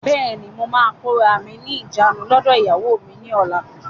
Bẹ́ẹ̀ni, mo máa kóra mí ní ìjánu lọdọ ìyàwó mi ni ọ̀la.